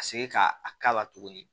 Ka se ka a k'a la tuguni